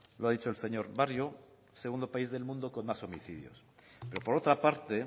lo ha dicho el señor barrio el segundo país del mundo con más homicidios por otra parte